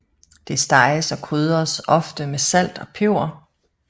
Det steges og krydres ofte med salt og peber